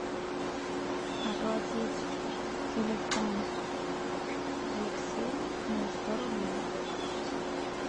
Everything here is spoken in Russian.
оплатить телефон алексея на сто рублей